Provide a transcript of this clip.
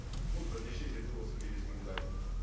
бұл бірнеше жерде осы кездескенге де айтылып жүр